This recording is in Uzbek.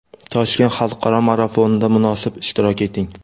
Toshkent xalqaro marafonida munosib ishtirok eting!.